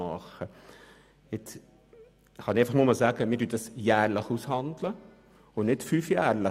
Wir handeln diese Verträge jährlich aus, nicht fünfjährlich.